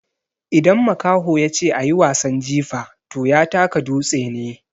Idan makaho ya ce "a yi wasan jifa" to ya taka dutse ne.